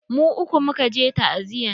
Mu uku muka je ta'aziyan.